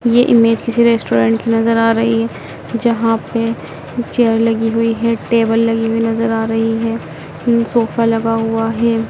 ये इमेज किसी रेस्टोरेंट की नजर आ रही है जहां पे चेयर लगी हुई है टेबल लगी हुई नजर आ रही है सोफा लगा हुआ है।